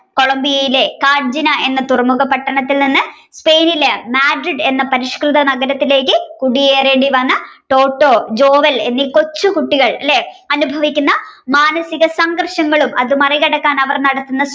Colombia യിലെ കാഞ്ചന എന്ന തുറമുഖ പട്ടണത്തിൽ നിന്ന് Spain ലെ Madrid എന്ന പരിഷ്കൃത നഗരത്തിലേക്ക് കുടിയേറേണ്ടിവന്ന ടോട്ടോ ജോവൽ എന്നീ കൊച്ചു കുട്ടികൾ അല്ലെ അനുഭവിക്കുന്ന മാനസികസംഘര്ഷങ്ങളും മറികടക്കാൻ അവർ നടത്തുന്ന